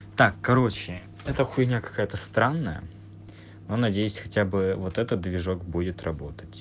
так короче эта хуйня какая-то странная но надеюсь хотя бы вот этот движок будет работать